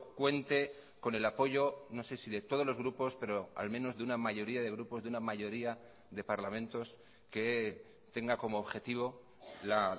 cuente con el apoyo no sé si de todos los grupos pero al menos de una mayoría de grupos de una mayoría de parlamentos que tenga como objetivo la